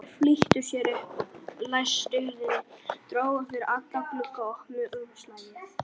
Þeir flýttu sér upp, læstu hurðinni, drógu fyrir alla glugga og opnuðu umslagið.